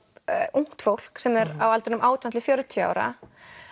ungt fólk sem er á aldrinum átján til fjörutíu ára